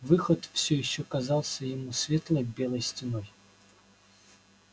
выход все ещё казался ему светлой белой стеной